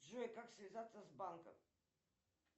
джой как связаться с банком